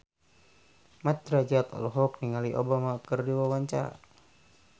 Mat Drajat olohok ningali Obama keur diwawancara